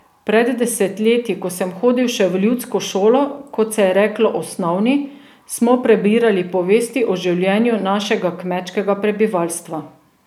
Pred desetletji, ko sem hodil še v ljudsko šolo, kot se je reklo osnovni, smo prebirali povesti o življenju našega kmečkega prebivalstva.